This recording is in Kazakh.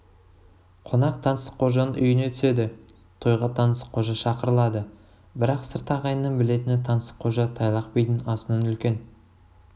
қонақ таңсыққожаның үйіне түседі тойға таңсыққожа шақырылады бірақ сырт ағайынның білетіні таңсыққожа тайлақ бидің асынан үлкен